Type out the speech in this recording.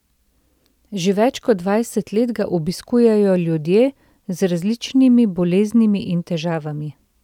Že več kot dvajset let ga obiskujejo ljudje z različnimi boleznimi in težavami.